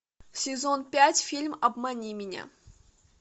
сезон пять фильм обмани меня